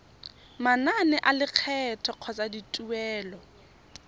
manane a lekgetho kgotsa dituelo